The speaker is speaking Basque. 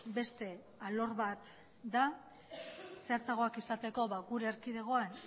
beste alor bat da zehatzagoak izateko gure erkidegoan